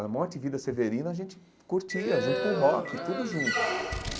A morte e vida severina a gente curtia junto com o rock, tudo junto.